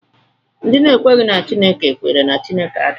Ndị na-ekweghị na Chineke kwere na Chineke adịghị